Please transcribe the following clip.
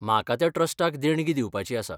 म्हाका त्या ट्रस्टाक देणगी दिवपाची आसा.